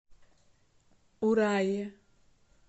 урае